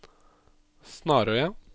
Snarøya